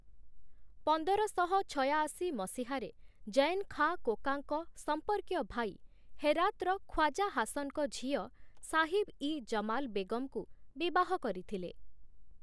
ପନ୍ଦରଶହ ଛୟାଅଶୀ ମସିହାରେ ଜୈନ୍ ଖାଁ କୋକାଙ୍କ ସମ୍ପର୍କୀୟ ଭାଇ, ହେରାତ୍‌ର ଖ୍ୱାଜା ହାସନ୍‌ଙ୍କ ଝିଅ ସାହିବ୍-ଇ-ଜମାଲ୍ ବେଗମ୍‌ଙ୍କୁ ବିବାହ କରିଥିଲେ ।